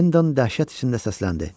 Henda dəhşət içində səsləndi: